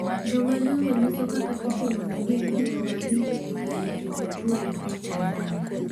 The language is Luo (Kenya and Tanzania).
Jomadongo nyiso kaka itimonegi gik maricho e kar rito jotuwo e piny Tanzania